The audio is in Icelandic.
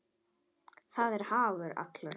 Það er hagur allra.